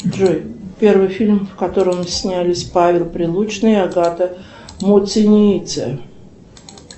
джой первый фильм в котором снялись павел прилучный и агата муцениеце